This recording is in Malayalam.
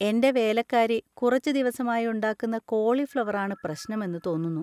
എൻ്റെ വേലക്കാരി കുറച്ചു ദിവസമായി ഉണ്ടാക്കുന്ന കോളിഫ്‌ളവർ ആണ് പ്രശ്നം എന്ന് തോന്നുന്നു.